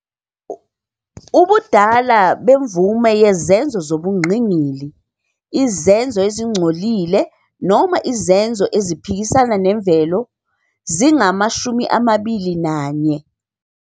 Ubudala bemvume yezenzo zobungqingili, "izenzo ezingcolile noma izenzo eziphikisana nemvelo", zingama-21